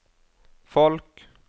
folk